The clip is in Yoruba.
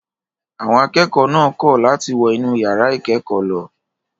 Àwọn akẹ́kọ̀ọ́ náà kọ̀ láti wọ inú ìyàrá ìkẹ́kọ̀ọ́ lọ.